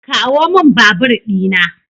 Kawomin babur dina.